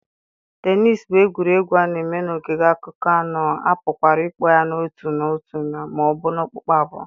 tennis bụ egwuregwu a na-eme n'ogige akụkụ anọ, a pụkwara ịkpọ ya n'otu otu ma ọ bụ okpukpu abụọ.